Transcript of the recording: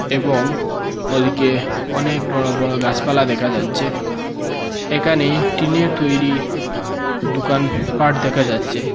এবং ওদিকে অনেক বড় বড় গাসপালা দেকা যাচ্চে একানে টিনের তৈরি দুকান পাঠ দেকা যাচ্চে।